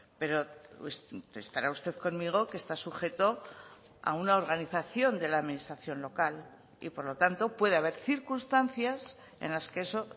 pero estará usted conmigo que está sujeto a una organización de la administración local y por lo tanto puede haber circunstancias en las que eso